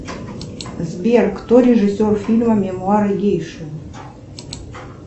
сбер кто режиссер фильма мемуары гейши